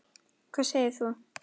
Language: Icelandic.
Hvað segir þú?